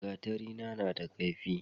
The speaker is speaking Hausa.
gatari na da kaifi